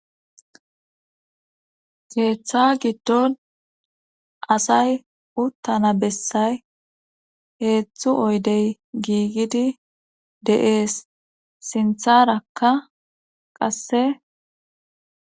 Keeththa giddon asay uttana bessay heezdzdzu oydey giigidi de'ees sintharakka qasse